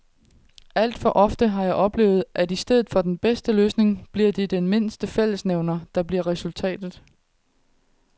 Alt for ofte har jeg oplevet, at i stedet for den bedste løsning bliver det den mindste fællesnævner, der bliver resultatet.